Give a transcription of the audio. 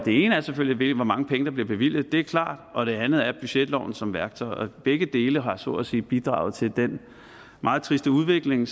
ene er selvfølgelig hvor mange penge der bliver bevilget det er klart og det andet er at budgetloven som værktøj og begge dele har så at sige bidraget til den meget triste udvikling